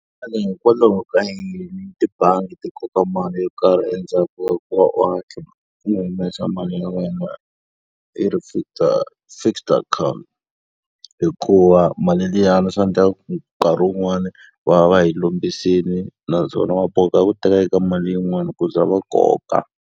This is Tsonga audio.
Xana hikwalaho ka yini tibangi ti koka mali yo karhi endzhaku ka ku va u hatla u humesa mali ya wena yi ri fixed fixed account? Hikuva mali liyani swi endlaka ku nkarhi wun'wani va va yi kombisile naswona va boheka ku teka eka mali yin'wani ku za va koka.